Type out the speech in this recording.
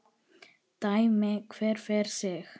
Dæmi hver fyrir sig!